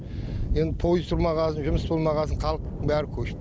енді пойыз тұрмаған соң жұмыс болмаған соң халық бәрі көш